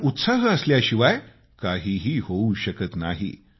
कारण उत्साह असल्याशिवाय काहीही होऊ शकत नाही